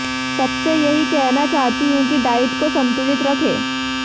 सबसे यही कहना चाहती हूं कि डाइट को संतुलित रखें